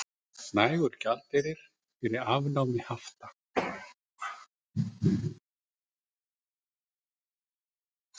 Nægur gjaldeyrir fyrir afnámi hafta